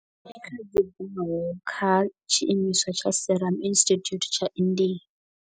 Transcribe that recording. Kha tshiimiswa tsha Serum Institute tsha India.